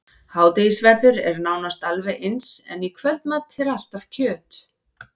Hádegisverður er nánast alveg eins, en í kvöldmat er alltaf kjöt.